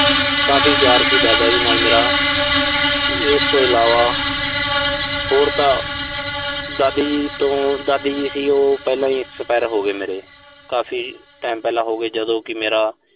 ਕਾਫ਼ੀ ਪਿਆਰ ਸੀ ਦਾਦਾ ਜੀ ਨਾਲ ਮੇਰਾ। ਇਸ ਤੋਂ ਇਲਾਵਾ ਹੋਰ ਤਾਂ ਦਾਦੀ ਜੀ ਤੋਂ। ਦਾਦੀ ਜੀ ਸੀ, ਉਹ ਪਹਿਲਾਂ ਹੀ expire ਹੋਗੇ ਮੇਰੇ। ਕਾਫ਼ੀ time ਪਹਿਲਾਂ ਹੋਗੇ, ਜਦੋਂ ਕਿ ਮੇਰਾ।